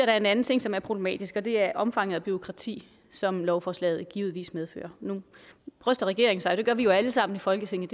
er en anden ting som er problematisk og det er omfanget af bureaukrati som lovforslaget givetvis medfører nu bryster regeringen sig jo af det gør vi jo alle sammen i folketinget